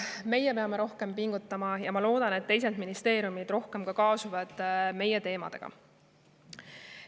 Meie peame rohkem pingutama ja ma loodan, et teised ministeeriumid kaasuvad rohkem meie teemade aruteluga.